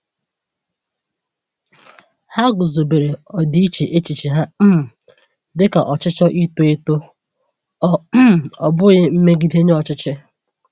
Ha guzobere ọdịiche echiche ha um dịka ọchịchọ ito eto, ọ um bụghị mmegide nye ọchịchị.